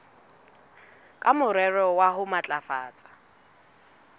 ka morero wa ho matlafatsa